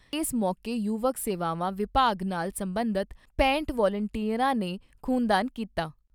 ਏਸ ਮੌਕੇ ਯੁਵਕ ਸੇਵਾਵਾਂ ਵਿਭਾਗ ਨਾਲ ਸਬੰਧਤ ਪੈਂਹਟ ਵਲੰਟੀਅਰਾਂ ਨੇ ਖ਼ੂਨਦਾਨ ਕੀਤਾ।